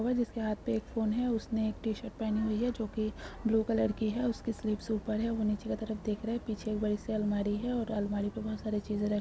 इसके हाथ में एक फोन है और उसने एक टी-शर्ट पहनी हुई है जो की ब्लू कलर की है उसकी स्लीव्स ऊपर है वो नीचे की तरफ देख रहा है पीछे बड़ी सी अलमारी है और अलमारी मैं बहुत साड़ी चीज़ --